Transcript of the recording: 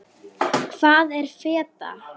Hvað er feta?